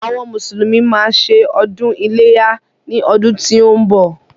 Àwọn mùsùlùmí má a ṣe ọdún iléyá ní ọdún tí ó ń bọ̀.